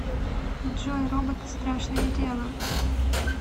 джой роботы страшное дело